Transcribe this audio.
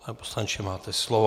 Pane poslanče, máte slovo.